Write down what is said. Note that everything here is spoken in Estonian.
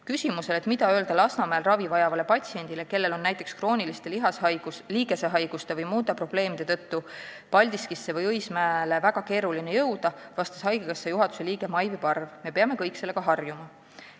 " Küsimusele, et mida öelda Lasnamäel ravi vajavale patsiendile, kellel on näiteks krooniliste liigesehaiguste või muude probleemide tõttu Paldiskisse või Õismäele väga raske jõuda, vastas haigekassa juhatuse liige Maivi Parv: "Me peame kõik sellega harjuma.